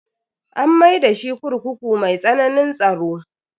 An maida shi kurkuku mai tsananin tsaro.